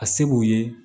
A se b'u ye